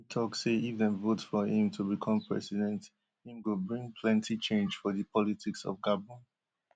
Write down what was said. im tok say if dem vote for im to become president im go bring plenty change for di politics of gabon